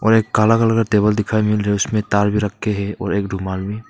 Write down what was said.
और एक काला कलर का टेबल दिखाई मिल रहे उसमें ताल भी रखे हैं और एक रूमाल भी।